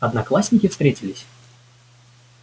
одноклассники встретились